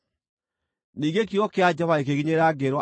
Ningĩ kiugo kĩa Jehova gĩkĩnginyĩrĩra, ngĩĩrwo atĩrĩ: